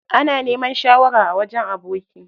Ana neman shawara a wajen aboki.